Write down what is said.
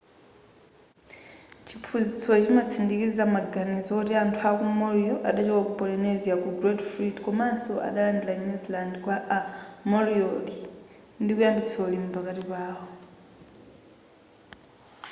chiphunzitsochi chimatsindikiza maganizo woti anthu achi maori adachoka ku polynesia ku great fleet komanso adalanda new zealand kwa a moriori ndikuyambitsa ulimi pakati pawo